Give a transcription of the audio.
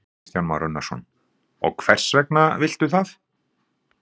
Kristján Már Unnarsson: Og hvers vegna viltu það?